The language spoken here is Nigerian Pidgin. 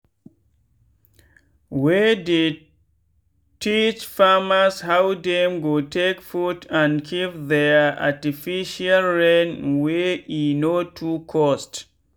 we dey teach farmers how dem go take put and keep their artificial rain wey e no too cost.